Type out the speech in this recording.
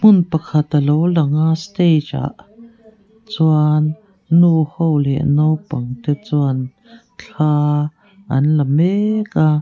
hmun pakhat a lo lang a stage ah chuan nu ho leh naupang te chuan thla an la mek a.